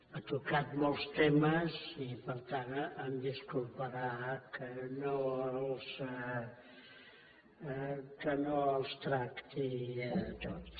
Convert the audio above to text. ha tocat molts temes i per tant em disculparà que no els tracti tots